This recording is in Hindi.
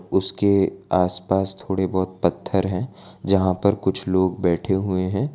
उसके आस पास थोड़े बहुत पत्थर है जहां पर कुछ लोग बैठे हुए हैं।